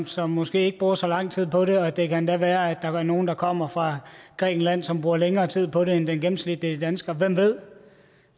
som måske ikke bruger så lang tid på det og det kan endda være at der er nogle der kommer fra grækenland og som bruger længere tid på det end den gennemsnitlige dansker hvem ved